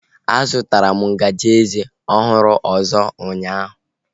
A zụtara m ngaji eze ọhụrụ ọzọ ụnyaahụ